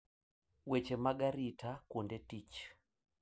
Weche mag arita kuonde tich.